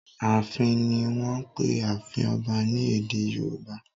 "Ààfin" ni wọ́n ń pe ààfin ọba ní èdè Yorùbá.